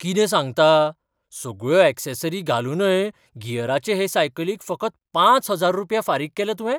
कितें सांगता? सगळ्यो ऍक्सेसरी घालूनय गियराचे हे सायकलीक फकत पांच हजार रुपया फारीक केले तुवें?